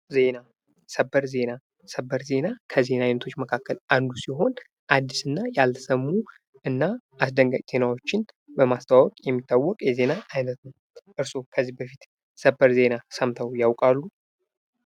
ዜና ፦ ሰበር ዜና ፦ ሰበር ዜና ከዜና አይነቶች መካከል አንዱ ሲሆን አዲስ እና ያልተሰሙ እና አስደንጋጭ ዜናዎችን በማስተዋወቅ የሚታወቅ የዜና አይነት ነው። እርስዎ ከዚህ በፊት ሰበር ዜና ሰምተው ያውቃሉ ?